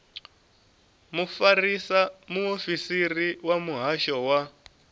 mufarisa muofisiri wa muhasho wa